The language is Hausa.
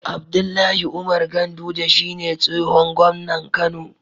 Abdullahi Umar ganduje shine tsihon gomnan kano